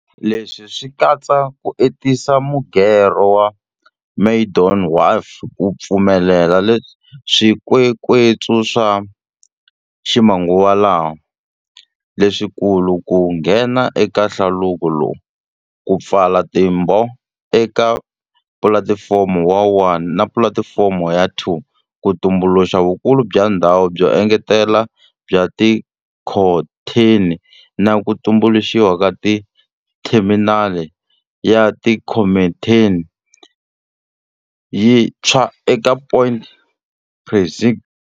Leswi swi katsa ku entisa mugerho wa Maydon Wharf ku pfumelela swikwekwetsu swa ximanguvalama, leswikulu ku nghena eka hlaluko lowu, ku pfala timbhovo eka Pulatifomo ya 1 na Pulati fomo ya 2 ku tumbuluxa vukulu bya ndhawu byo engetela bya tikhontheni na ku tumbuluxiwa ka theminali ya tikhontheni yi ntshwa eka Point Precinct.